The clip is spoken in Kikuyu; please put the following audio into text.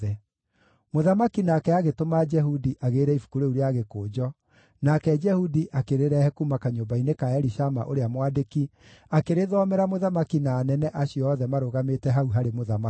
Mũthamaki nake agĩtũma Jehudi agĩĩre ibuku rĩu rĩa gĩkũnjo, nake Jehudi akĩrĩrehe kuuma kanyũmba-inĩ ka Elishama, ũrĩa mwandĩki, akĩrĩthomera mũthamaki na anene acio othe marũgamĩte hau harĩ mũthamaki.